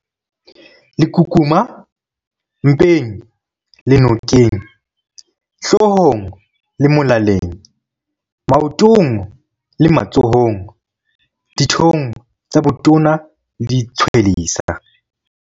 Lekukuma- Mpeng le nokeng, hloohong le molaleng, maotong le matsohong, dithong tsa botona le ditshwelesa.